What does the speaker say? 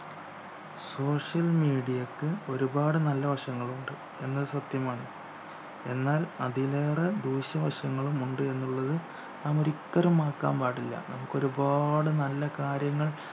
social media ക്ക് ഒരുപാട് നല്ല വശങ്ങളുണ്ട് എന്നത് സത്യമാണ് എന്നാൽ അതിലേറെ ദൂഷ്യ വശങ്ങളുമുണ്ട് എന്നുള്ളത് നാം ഒരിക്കലും മറക്കാൻ പാടില്ല നമുക്കൊരുപാട് നല്ല കാര്യങ്ങൾ